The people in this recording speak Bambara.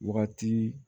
Wagati